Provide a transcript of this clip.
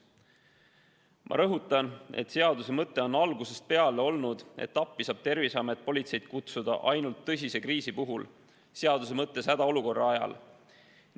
Ma rõhutan, et seaduse mõte on algusest peale olnud see, et appi saab Terviseamet politseid kutsuda ainult tõsise kriisi korral, seaduse mõttes hädaolukorra ajal.